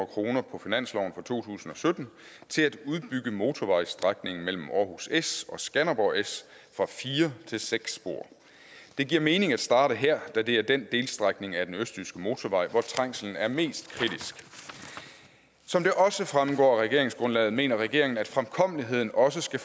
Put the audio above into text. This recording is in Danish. kroner på finansloven for to tusind og sytten til at udbygge motorvejsstrækningen mellem aarhus s og skanderborg s fra fire til seks spor det giver mening at starte her da det er den delstrækning af den østjyske motorvej hvor trængslen er mest kritisk som det også fremgår af regeringsgrundlaget mener regeringen at fremkommeligheden også skal